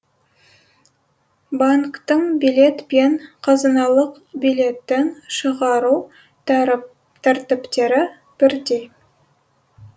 банктің билет пен қазыналық билеттің шығару тәртіптері бірдей